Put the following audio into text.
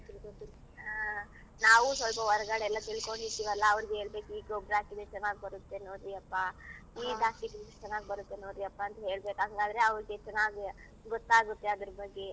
ಹಾ. ನಾವೂ ಸೊಲ್ಪ ಹೊರ್ಗಡೆ ಎಲ್ಲಾ ತಿಳ್ಕೊಂಡಿರ್ತಿವಲ್ಲ ಅವ್ರ್ಗ್ ಹೇಳ್ಬೇಕು ಈ ಗೊಬ್ಬರ ಹಾಕಿದ್ರೆ ಚೆನ್ನಾಗ್ ಬರತ್ತೆ ನೋಡ್ರಿ ಅಪ್ಪ ಈ ಇದ್ ಹಾಕಿದ್ರೆ ಇದ್ ಚೆನ್ನಾಗ್ ಬರತ್ತೆ ನೋಡ್ರಿ ಅಪ್ಪ ಅಂತ್ ಹೇಳ್ಬೇಕು ಹಂಗಾದ್ರೆ ಅವ್ರ್ಗೆ ಚೆನ್ನಾಗ್ ಗೊತ್ತಾಗತ್ತೆ ಅದ್ರ್ ಬಗ್ಗೆ.